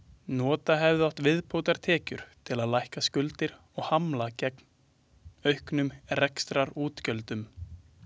Nota hefði átt viðbótartekjur til að lækka skuldir og hamla gegn auknum rekstrarútgjöldum.